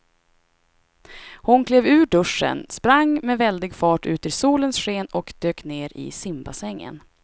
Hon klev ur duschen, sprang med väldig fart ut i solens sken och dök ner i simbassängen.